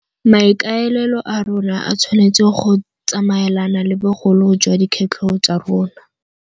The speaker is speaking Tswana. Maikaelelo a rona a tshwanetse go tsamaelana le bogolo jwa dikgwetlho tsa rona.